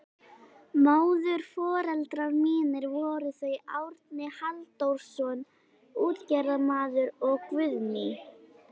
Móðurforeldrar mínir voru þau Árni Halldórsson útgerðarmaður og Guðný